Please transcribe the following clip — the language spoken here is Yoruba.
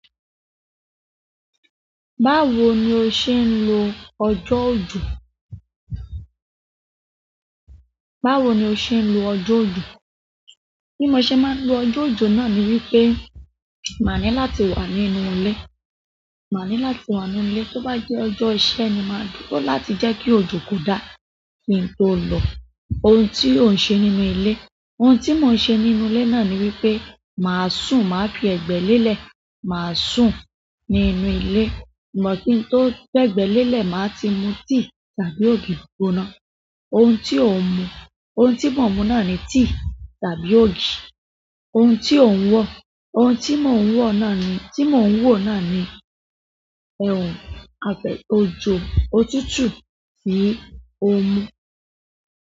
Báwo ni o ṣe ń lo ọjọ́ ojò? Báwo ni o ṣe ń lo ọjọ́ ojò? Bí mo ṣe máa ń lo ọjọ́ ojò náà ni wípé màá ní láti wà nínú ilé. Màá ní láti wà ní ilé. Tó bá jẹ́ ọjọ́ iṣẹ́ ni, màá dúró láti jẹ́ kí òjò kó dá. Kí n tó lọ, ohun tí ò ń ṣe nínú ilé, ohun tí mò ń ṣe nínú ilé náà ni wípé, màá sùn, màá fi ẹ̀gbẹ́ lélẹ̀, màá sùn nínú ilé. But, kí n tó fẹ̀gbẹ́ lélẹ̀, máa ti mu tea tàbí ògì i gbóná. Oun ti o ń mu, oun tí mo ń mu náà ni tea tàbí ògì i gbóná. Oun ti o ń wo? Oun tí mo ń wo náà ni, tí mo ń wo náà ni ape-- ọjọ́ òtútù yìí ó mú.